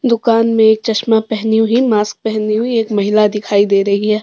दुकान में चश्मा पहनी हुई मास्क पहनी हुई एक महिला दिखाई दे रही है।